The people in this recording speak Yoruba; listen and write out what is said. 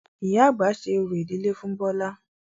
Ìyá àgbà ṣe orò ìdílé fún Bọlá